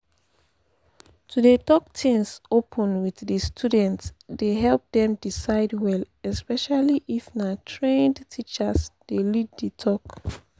to dey talk things open with di students dey help dem decide well especially if na trained teacher dey lead di talk.